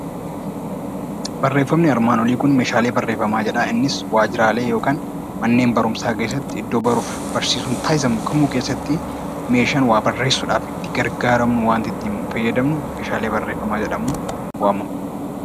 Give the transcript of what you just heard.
Barreeffamni armaan olii kun 'Meeshaalee Barreeffamaa' jedha. Innis waajjiraalee yookaan manneen barumsaa keessatti iddoo baruuf barsiisuun taasifamu keessatti meeshaannittii barreessuu dhaaf itti gargaaramnu, wanti ittiin fayyadamnu 'Meeshaalee Barreeffamaa' jedhamuun waamamu.